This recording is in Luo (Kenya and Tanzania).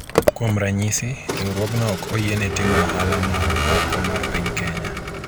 kuom ranyisi , riwruogno ok oyiene timo ohala ma oko mar piny Kenya